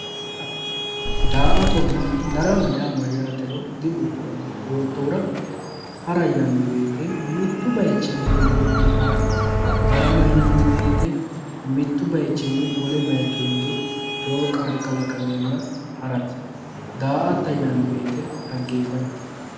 Hara, daa"attonna darama yaa mayyatero dibuuxoommo yoottohura hara yinanni woyte mitu bayichinni wolewa hige hara darama yinanni woyte mitu bayichinni wole bayicho hinge ikkewo qarri kalaqamenna harate ,daa"atta yinanni woyte dhaggefatate.